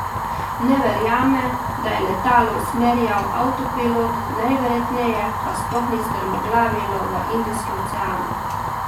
Ne verjame, da je letalo usmerjal avtopilot, najverjetneje pa sploh ni strmoglavilo v Indijski ocean.